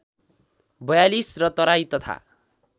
४२ र तराई तथा